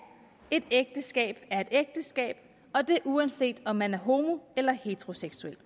et ægteskab er et ægteskab og det uanset om man er homo eller heteroseksuel